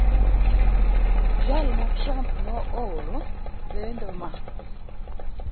Jal ma Trup ne ooro lendo ma *****